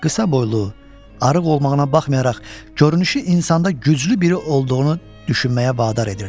Qısa boylu, arıq olmasına baxmayaraq, görünüşü insanda güclü biri olduğunu düşünməyə vadar edirdi.